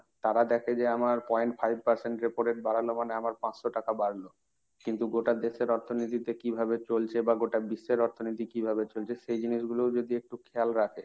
তারা দেখে যে আমার point five percent repo rate বাড়ানো মানে আমার পাঁচশ টাকা বাড়লো। কিন্তু গোটা দেশের অর্থনীতিতে কিভাবে চলছে বা গোটা বিশ্বের অর্থনীতি কিভাবে চলছে সেই জিনিসগুলোও যদি একটু খেয়াল রাখে,